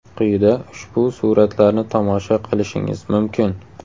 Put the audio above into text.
Quyida ushbu suratlarni tomosha qilishingiz mumkin.